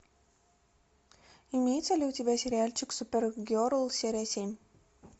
имеется ли у тебя сериальчик супергерл серия семь